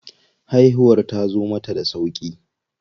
Haihuwar tazo mata da sauƙi.